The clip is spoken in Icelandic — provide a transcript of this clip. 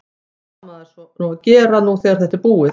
Hvað á maður svo að gera nú þegar þetta er búið?